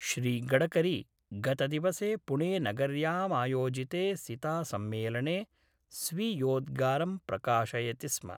श्रीगडकरी गतदिवसे पुणेनगर्यामायोजिते सितासम्मेलने स्वीयोद्गारं प्रकाशयति स्म।